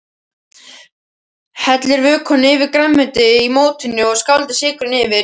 Hellið vökvanum yfir grænmetið í mótinu og sáldrið sykrinum yfir.